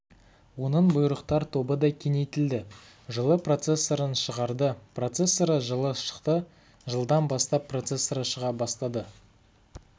оның бұйрықтар тобы да кеңейтілді жылы процессорын шығарды процессоры жылы шықты жылдан бастап процессоры шыға бастады